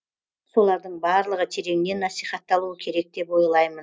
солардың барлығы тереңнен насихатталуы керек деп ойлаймын